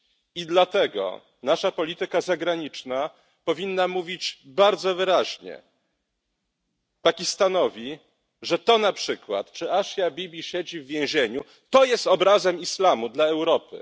I dlatego nasza polityka zagraniczna powinna mówić bardzo wyraźnie Pakistanowi, że to na przykład, że Asia Bibi siedzi w więzieniu, to jest obrazem islamu dla Europy.